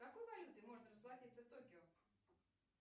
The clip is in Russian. какой валютой можно расплатиться в токио